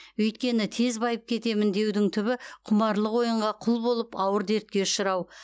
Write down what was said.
өйткені тез байып кетемін деудің түбі құмарлық ойынға құл болып ауыр дертке ұшырау